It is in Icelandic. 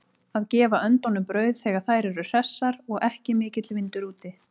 Að gefa öndunum brauð þegar þær eru hressar og ekki mikill vindur úti.